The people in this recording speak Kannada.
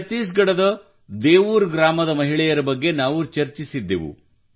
ಛತ್ತೀಸ್ ಗಢದ ದೇವೂರ್ ಗ್ರಾಮದ ಮಹಿಳೆಯರ ಬಗ್ಗೆ ನಾವು ಚರ್ಚಿಸಿದ್ದೆವು